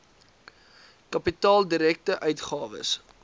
kapitaal direkte uitgawes